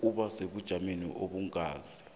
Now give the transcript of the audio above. ukuba sebujameni obungasi